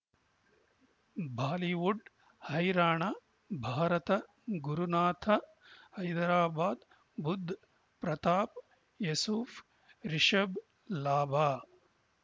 Bollywood ಹೈರಾಣ ಭಾರತ ಗುರುನಾಥ ಹೈದರಾಬಾದ್ ಬುಧ್ ಪ್ರತಾಪ್ ಯೂಸುಫ್ ರಿಷಬ್ ಲಾಭ